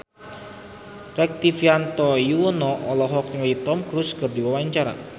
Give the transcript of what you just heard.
Rektivianto Yoewono olohok ningali Tom Cruise keur diwawancara